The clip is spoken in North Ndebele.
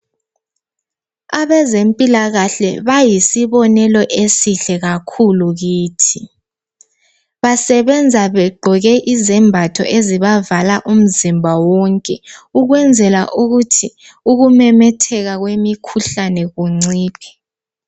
Abezempilakahle bayisibonelo esihle kakhulu kithi, basebenza begqoke izembatho ezibavala umzimba wonke. Ukwenzela ukuthi ukumemetheka kwemikhuhlane kunciphe.